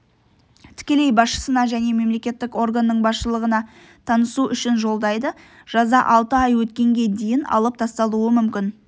тікелей басшысына және мемлекеттік органның басшылығына танысу үшін жолдайды жаза алты ай өткенге дейін алып тасталуы мүмкін